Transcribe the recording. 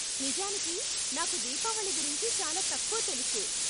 నిజానికి, నాకు దీపావళి గురించి చాలా తక్కువ తెలుసు.